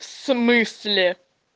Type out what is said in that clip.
в смысле